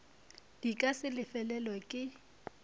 di ka se lefelelwe ke